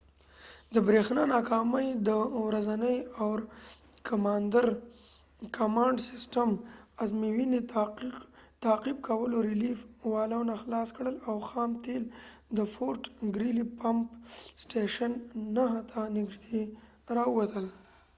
د بریښنا ناکامي د ورځني اور-کمانډ سیسټم ازموینې تعقيب کولو ریليف والونه خلاص کړل او خام تیل د فورټ ګریلي پمپ سټیشن 9 ته نږدې راووتل